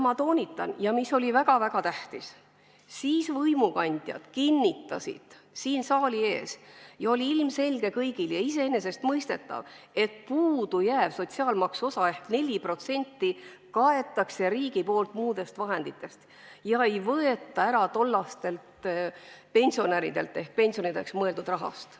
Ma toonitan – ja see oli väga-väga tähtis –, et tollased võimukandjad kinnitasid siin saali ees ja see oli kõigile ilmselge ja iseenesestmõistetav, et puudu jääva sotsiaalmaksu osa ehk 4% katab riik muudest vahenditest, mitte ei võta seda ära tollastelt pensionäridelt ehk pensionideks mõeldud rahast.